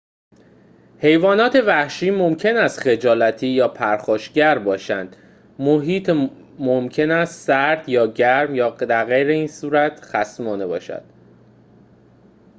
حیوانات وحشی ممکن است خجالتی یا پرخاشگر باشند محیط ممکن است سرد گرم یا درغیراین‌صورت خصمانه باشد